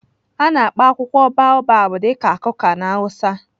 A na-akpọ akwụkwọ baobab dị ka kuka na hausa.